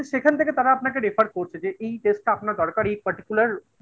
সেখান থেকে তারা আপনাকে refer করছে যে এই test টা আপনার দরকার এই particular